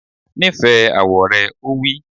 Nífẹ̀ẹ́ àwọ̀ rẹ! Ó wí